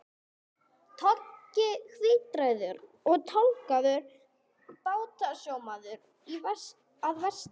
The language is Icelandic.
Toggi, hvíthærður og tálgaður bátasjómaður að vestan.